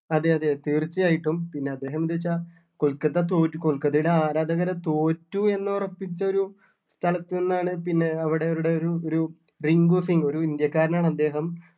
അതെ അതെ തീർച്ചയായിട്ടും പിന്നെ അദ്ദേഹം എന്താച്ചാ കൊൽക്കത്ത തോറ്റു കൊൽക്കത്തയുടെ ആരാധകര് തോറ്റു എന്ന് ഉറപ്പിച്ച ഒരു സ്ഥലത്ത് നിന്നാണ് പിന്നെ അവിടെ അവരുടെ ഒരു ഒരു റിങ്കു സിങ്ങ് ഒരു ഇന്ത്യക്കാരൻ ആണ് അദ്ദേഹം